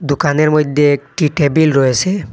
দোকানের মইধ্যে একটি টেবিল রয়েসে।